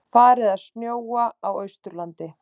Farið að snjóa á Austurlandi